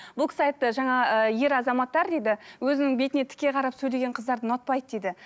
бұл кісі айтты жаңа ыыы ер азаматтар дейді өзінің бетіне тіке қарап сөйлеген қыздарды ұнатпайды дейді